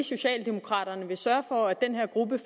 socialdemokraterne vil sørge